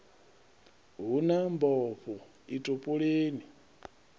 hu na mbofho i topoleni